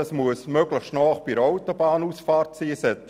Diese müssen möglichst nahe an einer Autobahnausfahrt liegen.